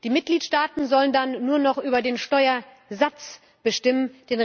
Die Mitgliedsstaaten sollen dann nur noch über den Steuersatz bestimmen.